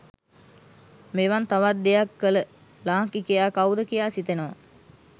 මෙවන් තවත් දෙයක් කල ලාංකිකයා කව්ද කියා සිතෙනවා